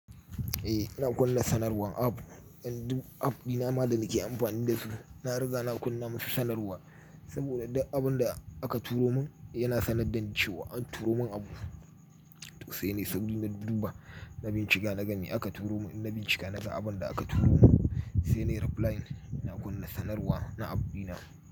Eh, ina kunna sanarwan app, dan du app dina ma da nake amfani da su, na riga na kunna musu sanarwa. Saboda duk abin da aka turo mun yana sanad dan cewa, an turo mun abu. Sai nai sauri na duba na bincika na ga me aka turo mun, in na bincika na ga abun da aka turo mun. Sai nai reply na kunna sanarwa na app dina.